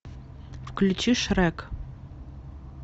включи шрек